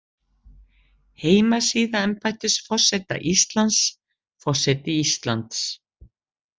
Heimasíða embættis forseta Íslands, Forseti Íslands.